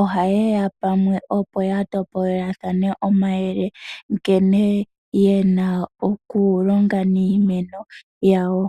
oha yeya pamwe opo ya topolelathane omayele. Nkene ye na okulonga niimeno yawo.